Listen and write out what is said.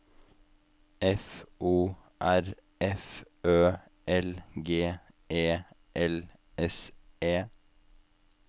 F O R F Ø L G E L S E